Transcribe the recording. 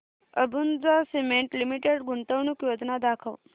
Ambuja cement limited गुंतवणूक योजना दाखव